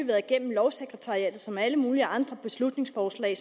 været igennem lovsekretariatet som alle mulige andre beslutningsforslag